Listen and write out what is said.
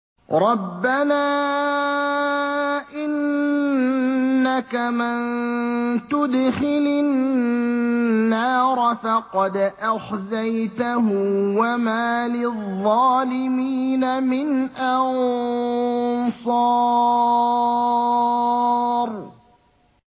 رَبَّنَا إِنَّكَ مَن تُدْخِلِ النَّارَ فَقَدْ أَخْزَيْتَهُ ۖ وَمَا لِلظَّالِمِينَ مِنْ أَنصَارٍ